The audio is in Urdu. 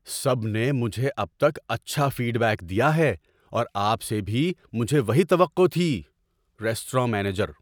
سب نے مجھے اب تک اچھا فیڈ بیک دیا ہے اور آپ سے بھی مجھے وہی توقع تھی۔ (ریستوراں مینیجر)